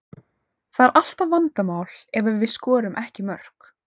Það er alltaf vandamál ef við skorum ekki mörk.